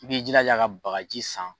I b'i jira ja ka bagaji san.